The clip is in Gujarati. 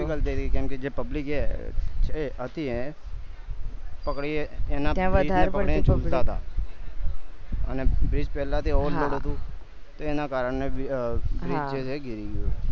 હતી કેમ જે public હતી એ હતી એ જુલતા હતા અને bridge પેલા થી over load હતું તો એના કરને bridge જે છે ઈ ગયું